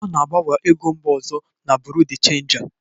A na-agbanwe ego mba ọzọ na Buru de chenja.